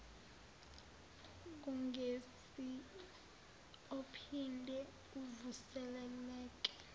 kugesi ophinde uvuseleleke